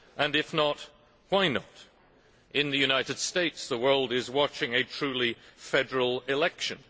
And if not, why not? In the United States the world is watching a truly federal election.